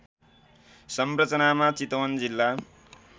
संरचनामा चितवन जिल्ला